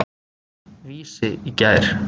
Vísi í gær.